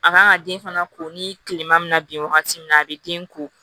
A kan ka den fana ko ni tilema bɛna bin wagati min na a bɛ den ko